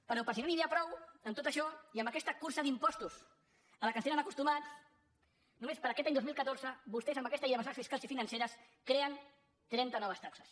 però per si no n’hi havia prou amb tot això i en aquesta cursa d’impostos a què ens tenen acostumats només per a aquest any dos mil catorze vostès amb aquesta llei de mesures fiscals i financeres creen trenta noves taxes